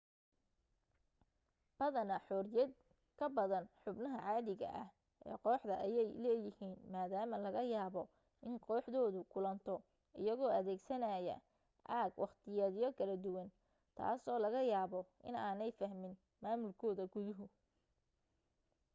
badanaa xoriyad ka badan xubnaha caadiga ah ee kooxda ayay leeyihiin maadaama laga yaabo in kooxdoodu kulanto iyagoo adeegsanaya aag waqtiyeedyo kala duwan taasoo laga yaabo inaanay fahmin maamulkooda guduhu